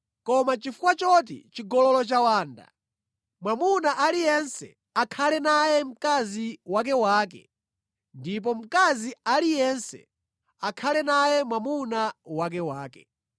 Koma chifukwa choti chigololo chawanda, mwamuna aliyense akhale naye mkazi wakewake ndipo mkazi aliyense akhale naye mwamuna wakewake.